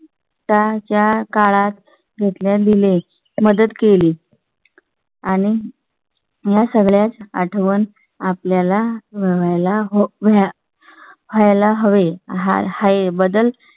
चा च्या काळात घेतल्या दिले, मदत केली आणि. . या सगळ्या ची आठवण आपल्या ला व्हाय ला वेळ. व्हाय ला हवे आहे बद्दल